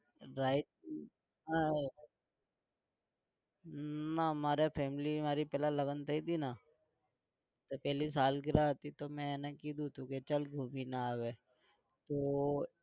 ride આ ના મારા family મારી પહેલા લગન થઇ હતીને તો પહેલી सालगिरा હતી તો મેં એને કીધું તું કે ચાલ ઘુમીને આવીએ તો